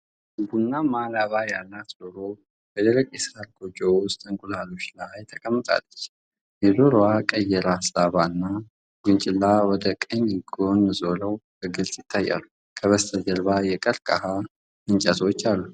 ቡናማ ላባ ያላት ዶሮ በደረቅ የሳር ጎጆ ውስጥ በእንቁላሎቿ ላይ ተቀምጣለች። የዶሮዋ ቀይ የራስ ላባና ጉንጭላ ወደ ቀኝ ጎን ዞረው በግልጽ ይታያሉ። ከበስተጀርባ የቀርከሃ እንጨቶች አሉ።